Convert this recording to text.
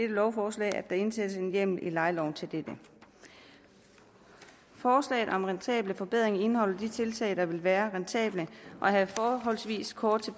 lovforslag at der indsættes en hjemmel i lejeloven til dette forslaget om rentable forbedringer indeholder de tiltag der vil være rentable og have forholdsvis kort